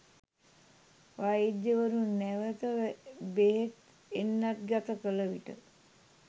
වෛද්‍යවරුන් නැවත බෙහෙත් එන්නත් ගත කළ විට